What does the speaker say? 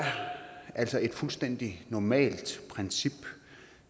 altså et fuldstændig normalt princip